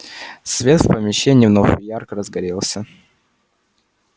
свет в помещении вновь ярко разгорелся